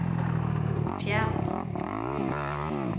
fjern